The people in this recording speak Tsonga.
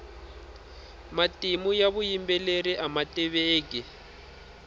matimu ya vuyimbeleri ama tiveki